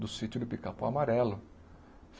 do sítio do Pica-pau Amarelo.